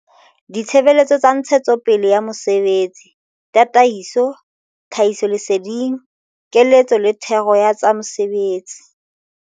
Ditshebeletso tsa ntshetsopele ya mosebetsi, tataiso, tlhahisoleseding, keletso le thero ya tsa mesebetsi.